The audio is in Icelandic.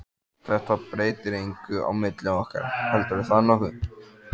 Þetta breytir engu á milli okkar, heldurðu það nokkuð?